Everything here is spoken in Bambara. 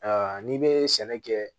Ayiwa n'i bɛ sɛnɛ kɛ